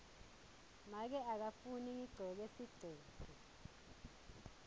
make akafuni ngigcoke sigcebhe